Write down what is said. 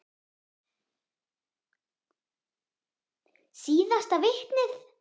Síðasta vitnið.